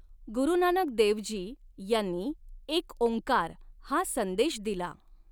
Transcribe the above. गुरुनानक देवजी यांनी एक ॐकार हा संदेश दिला.